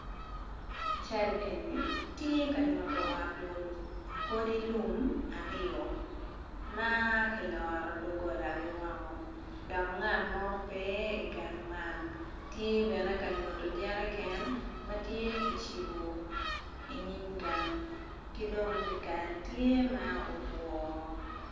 Cal eni tye ka nyuto ot lum odi lum aryo ma kiloro dogolagi woko dok ngat mo pe igang man tye bene ka nyuto jerican matye kicibu inyim gang ki dong dyekal tye ma otwoo